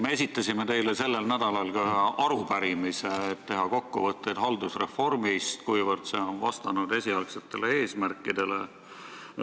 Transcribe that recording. Me esitasime teile sellel nädalal arupärimise, et teha kokkuvõtteid haldusreformist, sellest, kuivõrd see on vastanud esialgsetele eesmärkidele.